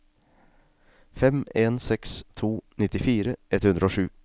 fem en seks to nittifire ett hundre og sju